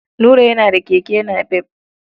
Nura yana da keke napep.